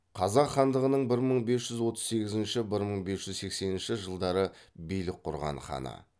қазақ хандығының билік құрған ханы